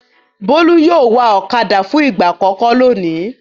Bólú yóò wa ọ̀kadà fún ìgbà àkọ́kọ́ lónìí.